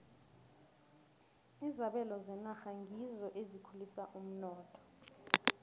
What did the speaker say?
izabelo zenarha ngizo ezikhulisa umnotho